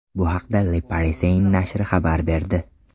Bu haqda Le Parisien nashri xabar berdi .